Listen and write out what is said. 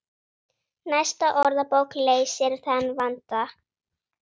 Næsta orðabók leysir þann vanda.